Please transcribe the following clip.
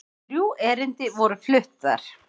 Þrjú erindi voru flutt þar